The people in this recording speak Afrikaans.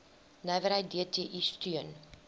nywerheid dti steun